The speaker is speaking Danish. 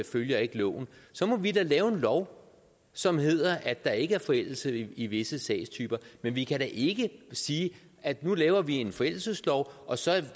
følger ikke loven så må vi da lave en lov som hedder at der ikke er forældelse i visse sagstyper men vi kan da ikke sige at nu laver vi en forældelseslov og så